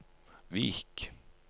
Vik